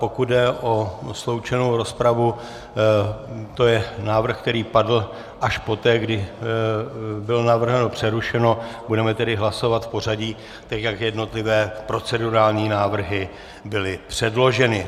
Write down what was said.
Pokud jde o sloučenou rozpravu, to je návrh, který padl až poté, kdy bylo navrženo přerušení, budeme tedy hlasovat v pořadí tak, jak jednotlivé procedurální návrhy byly předloženy.